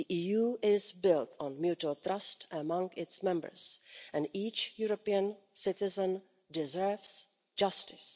The EU is built on mutual trust among its Members, and each European citizen deserves justice.